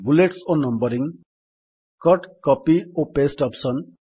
bullets ଓ numbering cut copy ଓ paste option